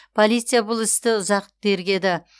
полиция бұл істі ұзақ уақыт тергеді